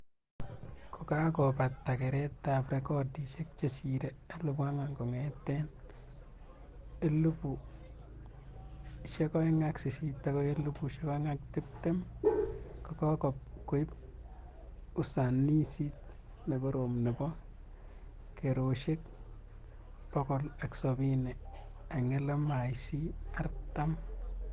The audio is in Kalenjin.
Kokakobate keretab rekodishek chesiree 4,000 kongetee 2008-2020,kokokib usanisit nekorom nebo keroshek 170 eng LMIC 40